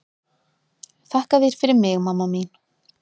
Þakka þér fyrir mig mamma mín.